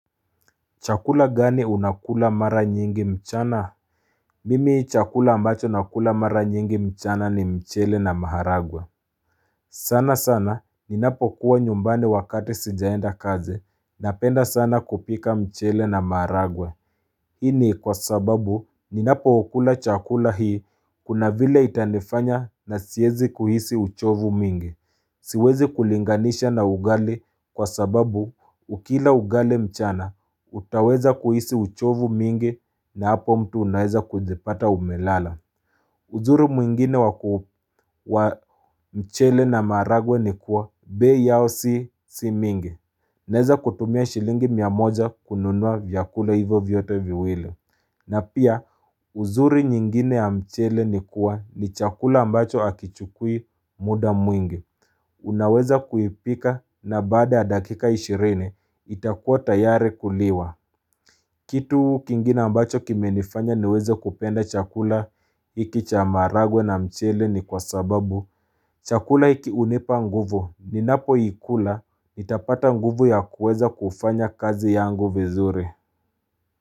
Chakula gani unakula mara nyingi mchana? Mimi chakula ambacho nakula mara nyingi mchana ni mchele na maharagwa. Sana sana ninapokuwa nyumbani wakati sijaenda kaze napenda sana kupika mchele na maharagwa. Hii ni kwa sababu ninapokula chakula hii kuna vile itanifanya na siezi kuhisi uchovu mingi. Siwezi kulinganisha na ugali kwa sababu ukila ugali mchana, utaweza kuhisi uchovu mingi na hapo mtu unaeza kujipata umelala. Uzuri mwingine wa mchele na maragwe ni kuwa bei yao si si mingi. Naeza kutumia shilingi mia moja kununua vyakula hivo vyote viwili. Na pia uzuri nyingine ya mchele ni kuwa ni chakula ambacho akichukui muda mwingi. Unaweza kuipika na baada ya dakika ishireni itakuwa tayari kuliwa Kitu kingine ambacho kimenifanya niweze kupenda chakula iki cha maragwe na mchele ni kwa sababu chakula iki unipa nguvu ninapoikula itapata nguvu ya kuweza kufanya kazi yangu vizuri.